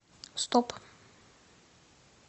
стоп